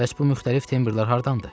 Bəs bu müxtəlif tembrlər hardandır?